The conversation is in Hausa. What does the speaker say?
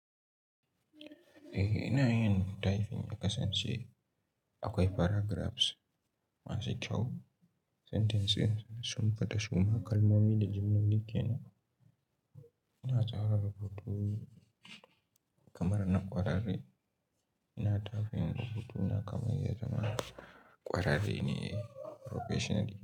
Eh ina yin typing ya kasance akwai paragraphs masu kyau, sentences sun fita suma kalmomi da jimloli kenan ina tsara rubutu kamar na kwararre, ina typing rubutu na kamar ya zama kwararre ne professional.